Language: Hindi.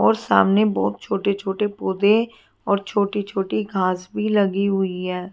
और सामने बहोत छोटे छोटे पौधे और छोटी छोटी घास भी लगी हुई है।